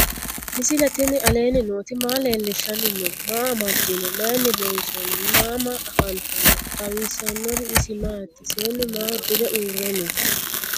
misile tini alenni nooti maa leelishanni noo? maa amadinno? Maayinni loonisoonni? mama affanttanno? xawisanori isi maati? seennu maa udire uure noo?